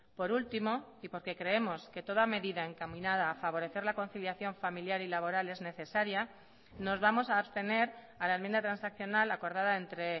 por último y porque creemos que toda medida encaminada a favorecer la conciliación familiar y laboral es necesaria nos vamos a abstener a la enmiendatransaccional acordada entre